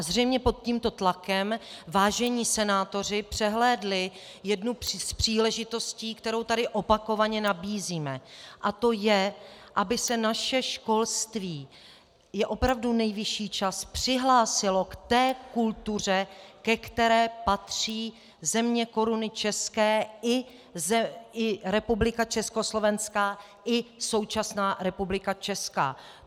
A zřejmě pod tímto tlakem vážení senátoři přehlédli jednu z příležitostí, kterou tady opakovaně nabízíme, a to je, aby se naše školství - je opravdu nejvyšší čas - přihlásilo k té kultuře, ke které patří země Koruny české i Republika československá i současná Republika česká.